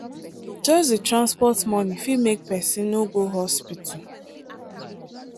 just the transport money fit make person no go hospital.